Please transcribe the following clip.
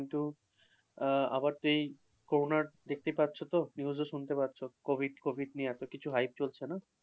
কিন্তু আহ আবারতো এই করোনার দেখতেই পাচ্ছ তো? news ও শুনতে পাচ্ছ, covid নিয়ে এতকিছু hip চলছে না?